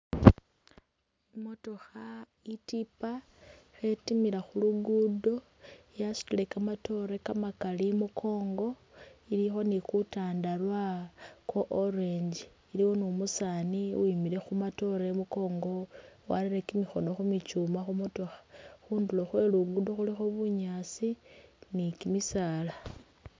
I'motokha i'tipa khetimila khu luguudo, yasutile kamatoore kamakali imukoongo, ilikho ni kutandarwa kwa orange, iliwo ni umusaani uwimile khu matoore imukongo, warere kimikhono khu michuuma khu motokha. Khundulo khwe Luguudo khulikho bunyaasi ni kimisaala.